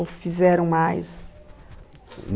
Ou fizeram mais?